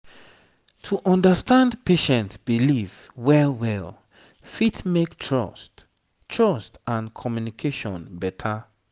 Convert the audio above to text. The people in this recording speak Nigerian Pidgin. to understand patient belief well well fit make trust trust and communication better